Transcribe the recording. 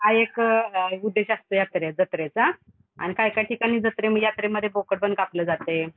हा एक उद्देश असतो यात्रे, जत्रेचा अन काय काय ठिकाणी जत्रे यात्रे मध्ये बोकड पण कापलं जातंय.